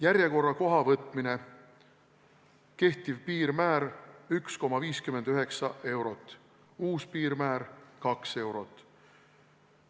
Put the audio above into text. Järjekorrakoha võtmine: kehtiv piirmäär – 1,59 eurot, uus piirmäär – 2 eurot.